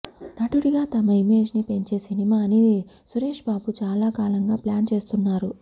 నటుడిగా తన ఇమేజ్ని పెంచే సినిమాని సురేష్బాబు చాలా కాలంగా ప్లాన్ చేస్తున్నారు